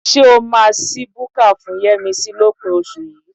Ṣé o máa ṣí búkà fún Yẹ́misí lópin oṣù yìí?